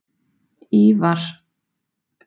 Ívar